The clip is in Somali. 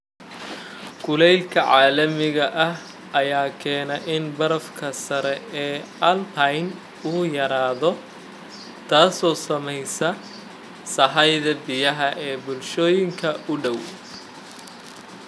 Kulaylka caalamiga ah ayaa keenaya in barafka sare ee alpine uu yaraado, taasoo saamaysay sahayda biyaha ee bulshooyinka u dhow.